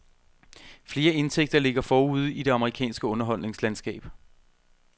Flere indtægter ligger forude i det amerikanske underholdningslandskab.